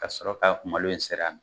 Ka sɔrɔ k'a malo in seri